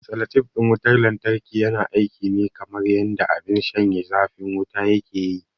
Salatif ɗin wutar lantarki yana aiki ne kamar yanda abin shanye zafin wuta yake yi.